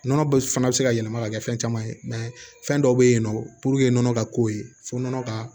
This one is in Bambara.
Nɔnɔ bɛ fana bɛ se ka yɛlɛma ka kɛ fɛn caman ye fɛn dɔw bɛ yen nɔ nɔnɔ ka ko ye fo nɔnɔ ka